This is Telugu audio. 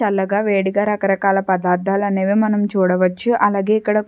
చల్లగా వేడిగా రకరకాల పదార్దాలనేవి మనం చూడవచ్చు అలాగే ఇక్కడ --